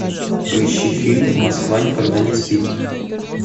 поищи фильм москва никогда не спит